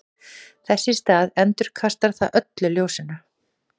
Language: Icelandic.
þess í stað endurkastar það öllu ljósinu